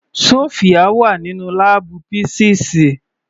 Sofia wà nínú láàbù písíìsì.